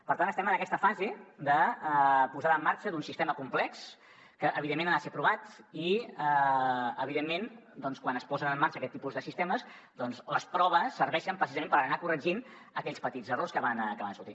per tant estem en aquesta fase de posada en marxa d’un sistema complex que evidentment ha de ser provat i evidentment quan es posen en marxa aquest tipus de sistemes doncs les proves serveixen precisament per anar corregint aquells petits errors que van sortint